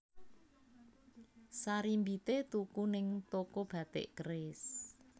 Sarimbite tuku ning toko Batik Keris